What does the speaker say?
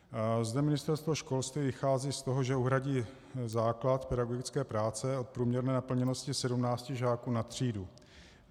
Zde Ministerstvo školství vychází z toho, že uhradí základ pedagogické práce od průměrné naplněnosti 17 žáků na třídu.